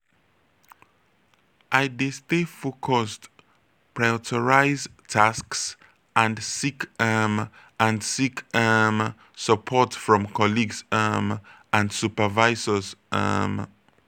i dey stay focused prioritize tasks and seek um and seek um support from colleagues um and supervisors. um